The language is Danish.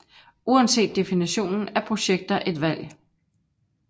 Uanset definitionen er projekter et valg